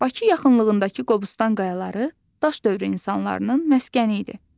Bakı yaxınlığındakı Qobustan qayaları Daş dövrü insanlarının məskəni idi.